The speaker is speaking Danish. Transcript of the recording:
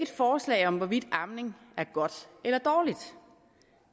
forslag om hvorvidt amning er godt eller dårligt